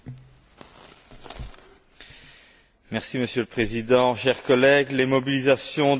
Monsieur le Président, chers collègues, les mobilisations de ce Fonds sont de plus en plus nombreuses.